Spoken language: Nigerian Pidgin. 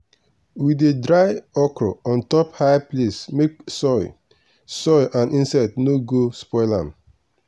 we dey dry okra on top high place make soil soil and insects no go spoil am.